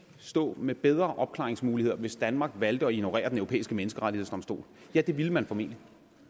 stå med bedre opklaringsmuligheder hvis danmark valgte at ignorere den europæiske menneskerettighedsdomstol ja det ville man formentlig